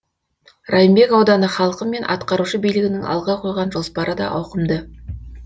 райымбек ауданы халқы мен атқарушы билігінің алға қойған жоспары да ауқымды